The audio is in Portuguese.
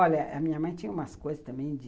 Olha, a minha mãe tinha umas coisas também de...